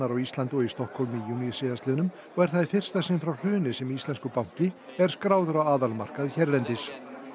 á Íslandi og í Stokkhólmi í júní síðastliðnum og er það í fyrsta sinn frá hruni sem íslenskur banki er skráður á aðalmarkað hérlendis